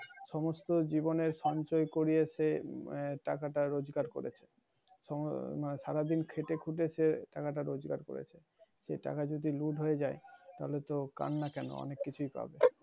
সমস্ত জীবনের সঞ্চয় কুড়িয়ে টাকাটা রোজগার করেছে। সারাদিন খেটে-খুটে সে টাকাটা রোগের করেছে। সেই টাকা যদি লুট হয়ে যায় তাহলে তো কান্না কেন অনেক কিছুই পাবে।